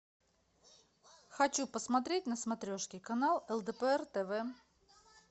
хочу посмотреть на смотрешке канал лдпр тв